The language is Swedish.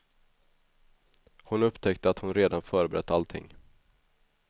Hon upptäckte att hon redan förberett allting.